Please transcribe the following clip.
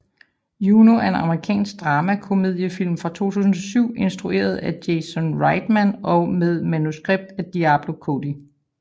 Juno er en amerikansk dramakomediefilm fra 2007 instrueret af Jason Reitman og med manuskript af Diablo Cody